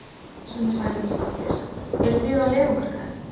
Sunna Sæmundsdóttir: Eruð þið á leigumarkaði?